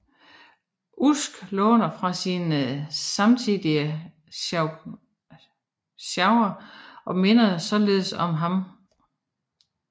Usk låner fra sin samtidige Chaucer og minder således om ham